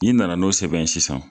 N'i nana n'o sɛbɛn ye sisan